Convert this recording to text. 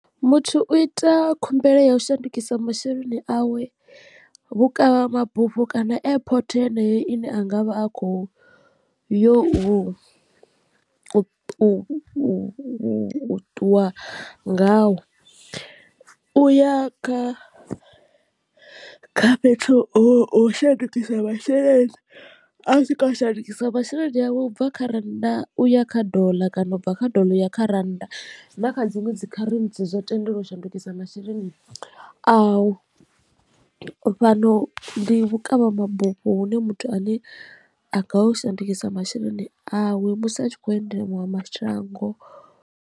Muthu u ita khumbelo ya u shandukisa masheleni awe vhukavhamabufho kana airport heneyo ine angavha a kho yo u ṱuwa ngawo. U ya kha kha fhethu ho shandukisa masheleni a swika a shandukisa masheleni awe ubva kha rannda uya kha dollar kana ubva kha doḽa u ya kha rannda na kha dziṅwe dzi kharentsi zwo tendeliwaho shandukisa masheleni au fhano ndi vhukavhamabufho hune muthu ane a ngaya u shandukisa masheleni awe musi a tshi kho endela maṅwe mashango.